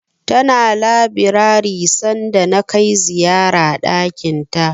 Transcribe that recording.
Tana labirari sanda na kai ziyara ɗakinta.